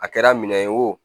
A kɛra minɛ ye wo